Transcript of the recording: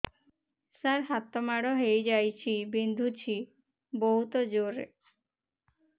ସାର ହାତ ମାଡ଼ ହେଇଯାଇଛି ବିନ୍ଧୁଛି ବହୁତ ଜୋରରେ